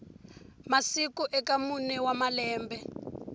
masiku eka mune wa malembe